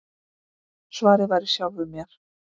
Svarið var í sjálfum mér.